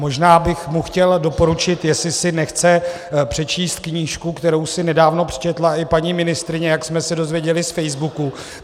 Možná bych mu chtěl doporučit, jestli si nechce přečíst knížku, kterou si nedávno přečetla i paní ministryně, jak jsme se dozvěděli z Facebooku.